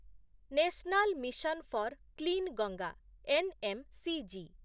national mission four କ୍ଲିନ୍‌ଗଙ୍ଗା NMCG